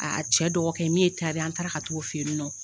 Aa cɛ dɔgɔkɛ min ye ye an taara ka t'o fɛ yen nɔ